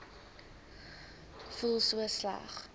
voel so sleg